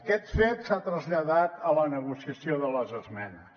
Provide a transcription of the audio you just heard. aquest fet s’ha traslladat a la negociació de les esmenes